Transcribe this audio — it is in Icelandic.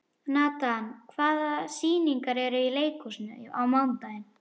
Natan, hvaða sýningar eru í leikhúsinu á mánudaginn?